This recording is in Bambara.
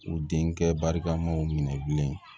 U denkɛ barikamaw minɛ bilen